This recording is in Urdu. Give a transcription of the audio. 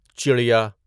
چڑیا